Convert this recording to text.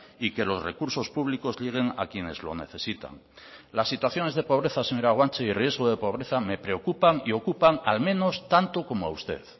y que los recursos públicos lleguen a quienes lo necesitan las situaciones de pobreza señora guanche y riesgo de pobreza me preocupan y ocupan al menos tanto como a usted